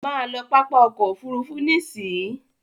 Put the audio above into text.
Má lọ pápá ọkọ̀ òfurufú nísìí!